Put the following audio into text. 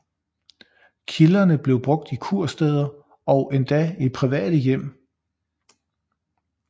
Kilderne bliver brugt i kursteder og endda i private hjem